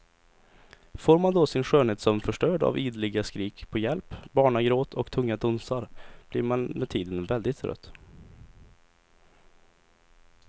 Får man då sin skönhetssömn förstörd av ideliga skrik på hjälp, barnagråt och tunga dunsar blir man med tiden väldigt trött.